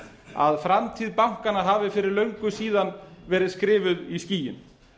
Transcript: að framtíð bankanna hafi fyrir löngu síðan verið skrifuð í skýin